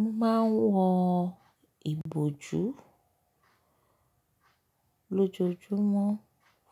Mo máa ń wọ ìbòjú lójoojúmọ́